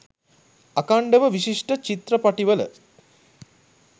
අඛන්ඩව විශිෂ්ට චිත්‍රපටිවල